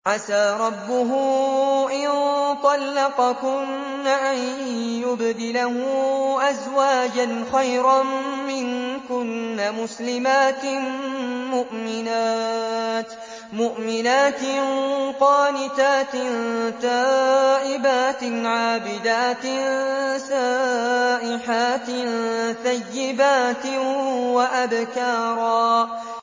عَسَىٰ رَبُّهُ إِن طَلَّقَكُنَّ أَن يُبْدِلَهُ أَزْوَاجًا خَيْرًا مِّنكُنَّ مُسْلِمَاتٍ مُّؤْمِنَاتٍ قَانِتَاتٍ تَائِبَاتٍ عَابِدَاتٍ سَائِحَاتٍ ثَيِّبَاتٍ وَأَبْكَارًا